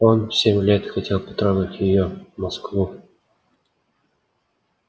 он семь лет хотел потрогать её москву